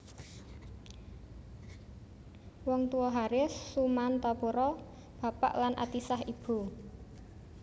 Wong Tuwa Haris Sumantapura bapak lan Atisah ibu